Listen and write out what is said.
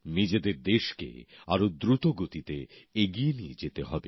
নিজেদের দেশকে আরও দ্রুত গতিতে এগিয়ে নিয়ে যেতে হবে